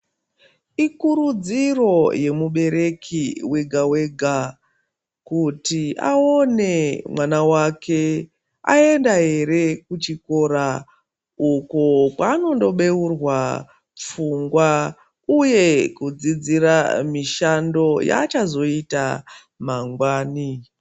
Ikurudziro yemubereki wega-wega kuti aone mwana wake aenda here kuchikora uko kwaanondobeurwa pfungwa uye kudzidzira mishando yaachazoita mangwani.